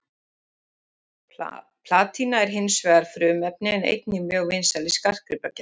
Platína er hinsvegar frumefni en einnig mjög vinsæl í skartgripagerð.